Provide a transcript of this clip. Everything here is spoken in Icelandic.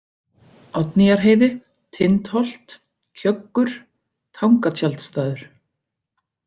Oddnýjarheiði, Tindholt, Kjöggur, Tangatjaldstaður